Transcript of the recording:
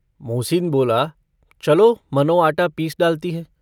मोहसिन बोला - चलो मनो आटा पीस डालती हैं।